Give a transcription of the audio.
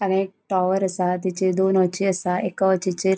हांगा एक टॉवर असा तिचेर दोन वोची असा एका वोचिचेर --